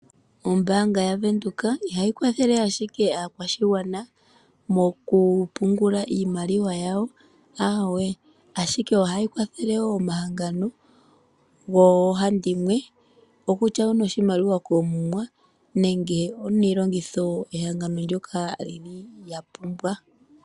Ombaanga yaVenduka ihayi kwathele ashike aakwashigwana moku pungula iimaliwa yawo, ahawe, ashike ohayi kwathele wo omahangano goohandimwe, okutya onoshimaliwa koomuma nenge oniilongitho ehangano ndyoka lyili lya pumbwa.